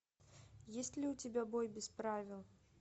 есть ли у тебя бой без правил